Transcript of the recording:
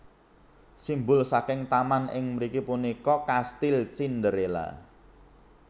Simbol saking taman ing mriki punika kastil Cinderella